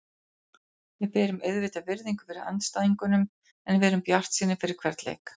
Við berum auðvitað virðingu fyrir andstæðingunum en við erum bjartsýnir fyrir hvern leik.